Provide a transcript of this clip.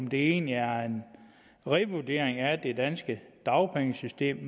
vil egentlig er en revurdering af det danske dagpengesystem